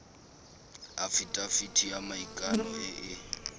afitafiti ya maikano e e